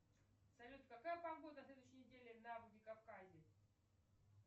салют какая погода на следующей неделе во владикавказе